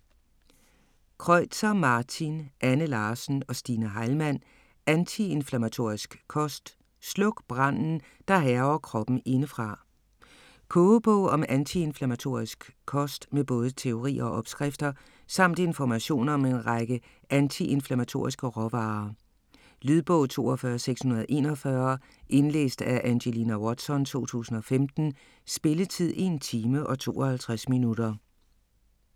Kreutzer, Martin, Anne Larsen og Stine Heilmann: Antiinflammatorisk kost: sluk branden, der hærger kroppen indefra Kogebog om antiinflammatorisk kost med både teori og opskrifter; samt information om en række antiinflammatoriske råvarer. Lydbog 42641 Indlæst af Angelina Watson, 2015. Spilletid: 1 timer, 52 minutter.